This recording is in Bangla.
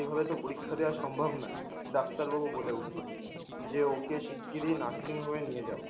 এভাবে তো পরীক্ষা দেয়াসম্ভব নয়! ডাক্তার বাবু বলে উঠলো যে, ওকে সিগগিরই nursing home এ নিয়ে যাও।